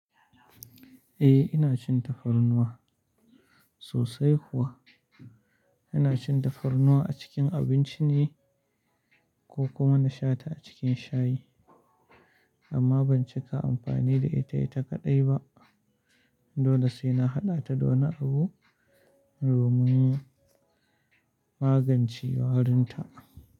Eh ina cin tafarnuwa sosai kuwa. Ina cin tafarnuwa a cikin abinci ne ko kuma na sha ta a cikin shayi. Amma ban cika amfani da ita, ita kaɗai ba. Dole sai na haɗa ta da wani abu domin magance warinta.